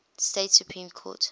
state supreme court